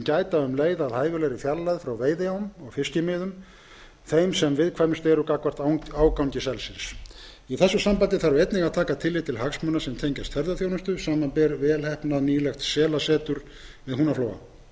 gæta um leið að hæfilegri fjarlægð frá veiðiám og fiskimiðum sem viðkvæmust eru gagnvart ágangi selsins í þessu sambandi þarf einnig að taka tillit til hagsmuna sem tengjast ferðaþjónustu samanber velheppnað selasetur við húnaflóa